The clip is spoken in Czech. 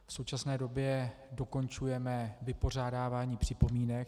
V současné době dokončujeme vypořádávání připomínek.